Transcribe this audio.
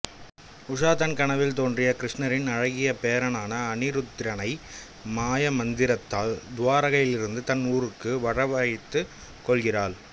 உஷா தன் கனவில் தோன்றிய கிருஷ்ணரின் அழகிய பேரனான அனிருத்திரனை மாயமந்திரத்தால் துவாரகையிலிருந்து தன் ஊருக்கு வரவழைத்துக் கொள்கிறாள்